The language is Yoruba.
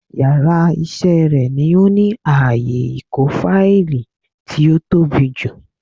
Yàrá isé rè ni ó ní ààyè ìkó fáìlì tí ó tóbi jù